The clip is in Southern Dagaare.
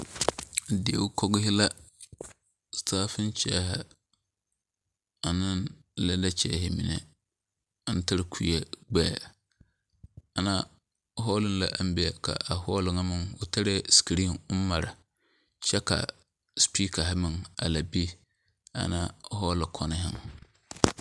Dieo kogir la? plastic chairs ane leather chairs mine aŋ tare kuri gbɛ ana hɔl la aŋ be kaa hɔl ŋa meŋ o tare screen ɔŋ mare kyɛ ka speakerri meŋ a la be ana hɔloŋ koŋkobo.